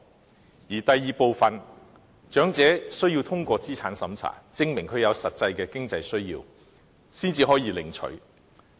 至於第二部分，則設有資產審查，長者需要通過審查，證明有實際的經濟需要，才可領取有關款項。